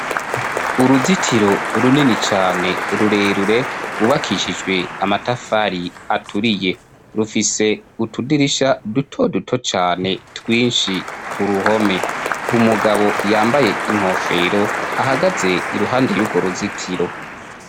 Uruzitiro runini cane rurerure ryubakishijwe amatafari aturiye, rufise utudirisha duto duto cane twinshi ku ruhome. Umugabo yambaye inkofero ahagaze iruhande y'urwo ruzitiro.